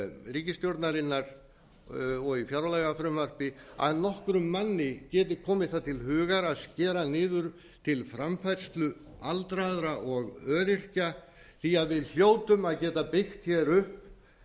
ríkisstjórnarinnar og í fjárlagafrumvarpi að nokkrum manni geti komið það til hugar að skera niður til framfærslu aldraðra og öryrkja því að við hljótum að geta byggt hér upp